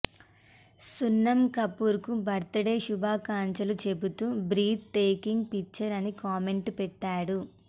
సున్నం కపూర్ కు birthday శుభాకాంక్షలు చెబుతూ బ్రీత్ టేకింగ్ పిక్చర్ అని కామెంట్ పెట్టాడు